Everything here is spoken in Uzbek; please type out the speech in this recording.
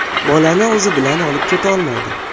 Bolani o‘zi bilan olib ketolmaydi.